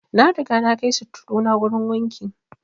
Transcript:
Na riga na kai sutturu na wurin wanki